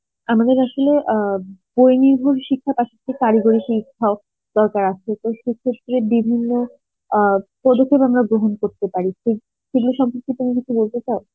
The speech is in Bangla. আমাদের আসলে আ বই নির্ভর শিক্ষক তার সথে কারিগরী শিক্ষক দরকার আছে তো সে ক্ষেত্রে বিভিন্ন আ প্রদক্ষেপ আমরা গ্রহণ করতে পারি সেগুলো সম্পর্কে তুমি কিছু বলতে চাও